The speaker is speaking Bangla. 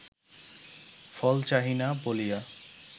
ফল চাহি না বলিয়া